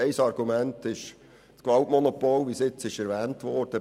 Ein Argument ist das Gewaltmonopol per se, wie bereits erwähnt wurde.